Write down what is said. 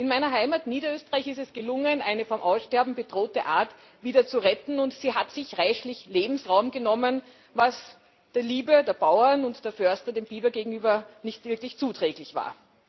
In meiner Heimat Niederösterreich ist es gelungen, eine vom Aussterben bedrohte Art zu retten, und sie hat sich reichlich Lebensraum genommen, was der Liebe der Bauern und der Förster dem Biber gegenüber nicht wirklich zuträglich war.